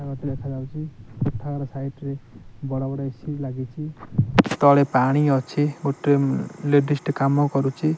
କୋଠା ଘର ଟି ଦେଖାଯାଉଚି କୋଠା ଘର ସାଇଟ୍ ରେ ବଡ଼ ବଡ ଏ_ସି ଲାଗିଚି ତଳେ ପାଣି ଅଛି ଗୋଟେ ଲେଡିସ୍ ଟେ କାମ କରୁଚି।